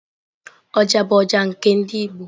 Oja bụ ọjà nke ndị igbo.